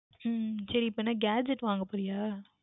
உம் சரி இப்பொழுது என்ன Gadget வாங்க போகின்றாய